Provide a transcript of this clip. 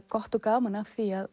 gott og gaman af því að